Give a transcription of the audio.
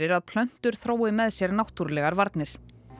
að plöntur þrói með sér náttúrulegar varnir